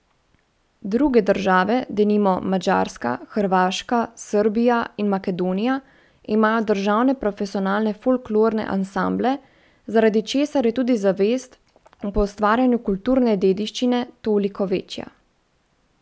Druge države, denimo, Madžarska, Hrvaška, Srbija in Makedonija imajo državne profesionalne folklorne ansamble, zaradi česar je tudi zavest o poustvarjanju kulturne dediščine toliko večja.